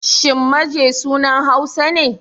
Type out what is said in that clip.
Shin Maje sunan Hausa ne?